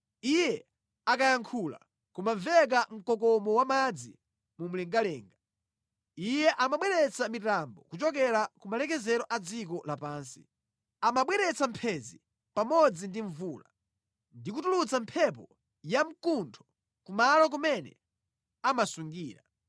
Iye akayankhula, kumamveka mkokomo wamadzi akumwamba. Iyeyo amabweretsa mitambo kuchokera ku malekezero a dziko lapansi. Amabweretsa mphenzi pamodzi ndi mvula ndi kutulutsa mphepo yamkuntho kumalo kumene amasungira.